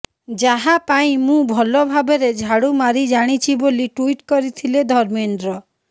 ଯାହା ପାଇଁ ମୁଁ ଭଲ ଭାବରେ ଝାଡ଼ୁ ମାରି ଜାଣିଛି ବୋଲି ଟୁଇଟ୍ କରିଥିଲେ ଧର୍ମେନ୍ଦ୍ର